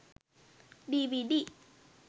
dvd